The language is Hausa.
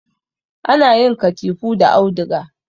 Ana yin katifu da auduga